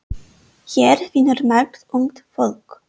Hér vinnur margt ungt fólk.